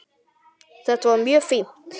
Þetta var mjög fínt.